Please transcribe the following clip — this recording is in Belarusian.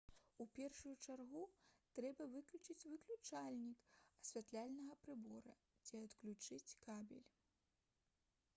у першую чаргу трэба выключыць выключальнік асвятляльнага прыбора ці адключыць кабель